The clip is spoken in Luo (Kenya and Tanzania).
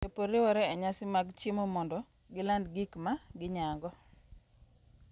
Jopur riwore e nyasi mag chiemo mondo giland gik ma ginyago.